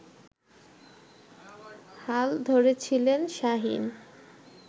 হাল ধরেছিলেন শাহীন